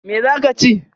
Me za ka chi?